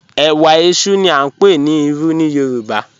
Ẹwà ẹṣú ni a ń pè ní Ìrù ní Yorùbá.